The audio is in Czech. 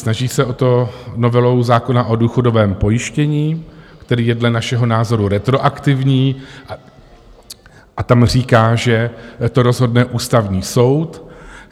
Snaží se o to novelou zákona o důchodovém pojištění, který je dle našeho názoru retroaktivní, a tam říká, že to rozhodne Ústavní soud.